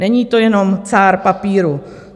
Není to jenom cár papíru.